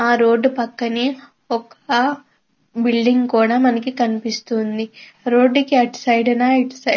ఇక్కడ ఒక భవనం కూడా మనం చూడవచ్చు. అవి చిన్న చిన్న ఇంకా పెద్దవి కూడా మనం చుడవ్కాహ్హు.